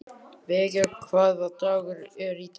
Veiga, hvaða dagur er í dag?